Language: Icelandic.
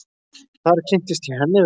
Þar kynntist ég henni vel.